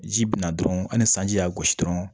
Ji bin na dɔrɔn ani sanji y'a gosi dɔrɔn